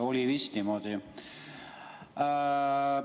Oli vist niimoodi?